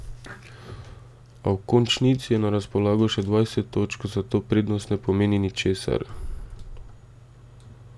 A v končnici je na razpolago še dvajset točk, zato prednost ne pomeni ničesar.